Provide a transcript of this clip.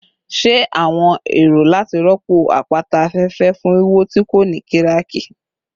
Ṣe awọn ero lati rọpo apata afẹfẹ fun wiwo ti ko ni kiraki?